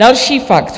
Další fakt.